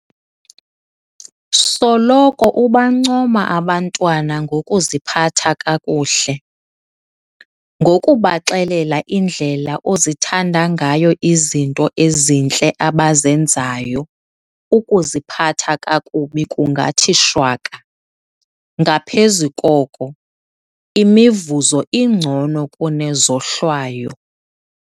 Soloko ubancoma abantwana ngokuziphatha kakuhle. Ngokubaxelela indlela ozithanda ngayo izinto ezintle abazenzayo, ukuziphatha kakubi kungathi shwaka. Ngaphezu koko, imivuzo ingcono kune zohlwayo.